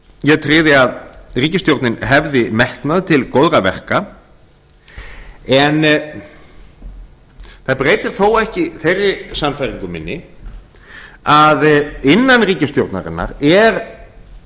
ég tryði að ríkisstjórnin hefði metnað til góðra verka en það breytir þó ekki þeirri sannfæringu minni að innan ríkisstjórnarinnar er